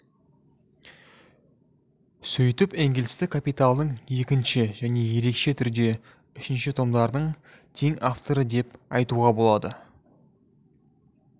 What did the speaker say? сөйтіп энгельсті капиталдың екінші және ерекше түрде үшінші томдардың тең авторы деп айтуға болады